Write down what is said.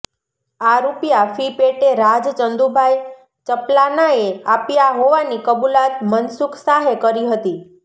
આ રૃપિયા ફી પેટે રાજ ચંદુભાઈ ચપ્લાનાએ આપ્યા હોવાની કબુલાત મનસુખ શાહે કરી હતી